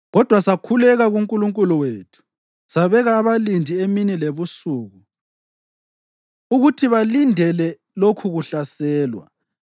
Kodwa sakhuleka kuNkulunkulu wethu sabeka abalindi emini lebusuku ukuthi balindele lokhukuhlaselwa.